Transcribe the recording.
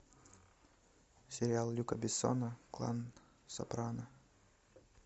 сериал люка бессона клан сопрано